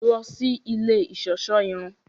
Lọ sí ilé iṣọṣọ irun!